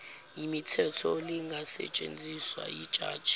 mithetho lingasetshenziswa yijaji